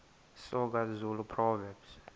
soga zulu proverbs